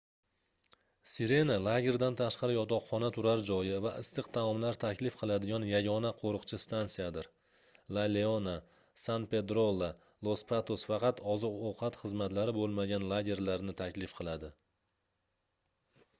sirena lagerdan tashqari yotoqxona turar joyi va issiq taomlar taklif qiladigan yagona qoʻriqchi stansiyadir la leona san pedrolla los patos faqat oziq-ovqat xizmatlari boʻlmagan lagerlarni taklif qiladi